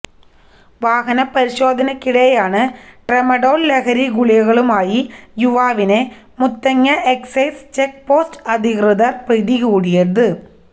വാഹന പരിശോധനക്കിടെയാണ് ട്രമഡോള് ലഹരി ഗുളികകളുമായി യുവാവിനെ മുത്തങ്ങ എക്സൈസ് ചെക്ക് പോസ്റ്റ് അധികൃതര് പിടികൂടിയത്